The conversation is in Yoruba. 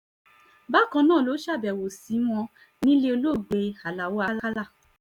bákan náà ló ṣàbẹ̀wò sí wọn nílẹ̀ olóògbé aláọ̀ àkàlà